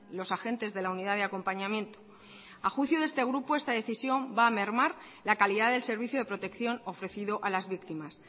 los agentes de la unidad de acompañamiento a juicio de este grupo esta decisión va a mermar la calidad del servicio de protección ofrecido a las víctimas